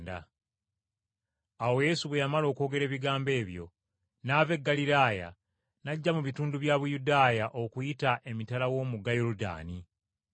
Awo Yesu bwe yamala okwogera ebigambo ebyo n’ava e Ggaliraaya n’ajja mu bitundu bya Buyudaaya okusukka emitala wa Yoludaani.